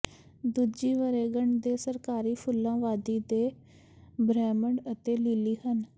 ਦੂਜੀ ਵਰ੍ਹੇਗੰਢ ਦੇ ਸਰਕਾਰੀ ਫੁੱਲਾਂ ਵਾਦੀ ਦੇ ਬ੍ਰਹਿਮੰਡ ਅਤੇ ਲੀਲੀ ਹਨ